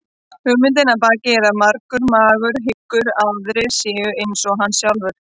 Hugmyndin að baki er að margur maðurinn hyggur að aðrir séu eins og hann sjálfur.